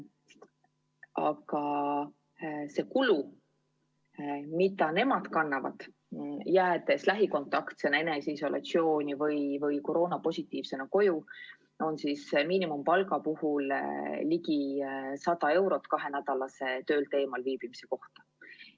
Ja see kulu, mida nemad kannavad, jäädes lähikontaktsena eneseisolatsiooni või koroonapositiivsena koju, on miinimumpalga puhul ligi 100 eurot kahenädalase töölt eemalviibimise ajal.